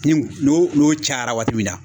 Ni n'o n'o cayara waati min na